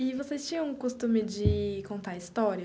E vocês tinham o costume de contar história?